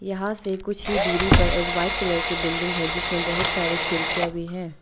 यहां से कुछ ही दूरी पर एक वाइट कलर की बिल्डिंग है जिसमें बहुत सारे खिड़कियां भी हैं।